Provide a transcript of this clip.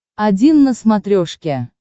один на смотрешке